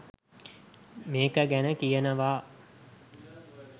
මේක ගැන කියනවා